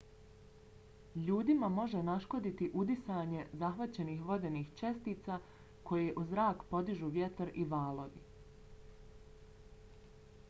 ljudima može naškoditi udisanje zahvaćenih vodenih čestica koje u zrak podižu vjetar i valovi